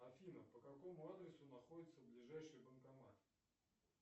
афина по какому адресу находится ближайший банкомат